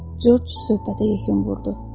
Corc söhbətə yekun vurdu.